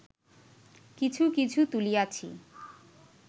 কিছু কিছু তুলিয়াছি